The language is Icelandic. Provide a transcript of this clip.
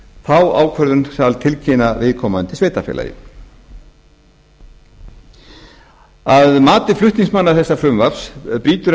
þá ákvörðun þarf að tilkynna viðkomandi sveitarfélagi að mati flutningsmanna þessa frumvarps slítur